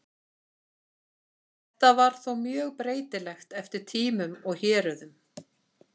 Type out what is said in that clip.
Þetta var þó mjög breytilegt eftir tímum og héruðum.